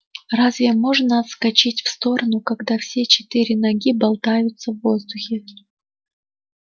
разве можно отскочить в сторону когда все четыре ноги болтаются в воздухе